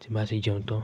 tí máa sì jẹun tán.